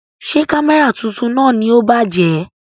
Ṣé Kámẹ́rà tuntun náà ni ó bàjẹ́?